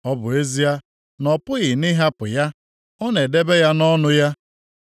ọ bụ ezie na ọ pụghị nʼịhapụ ya, ọ na-edebe ya nʼọnụ ya,